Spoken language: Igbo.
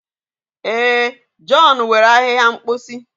Ee, john were ahịhịa mposi.